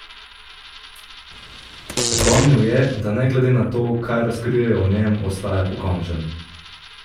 Opomnil je, da ne glede na to, kaj razkrijejo o njem, ostaja pokončen.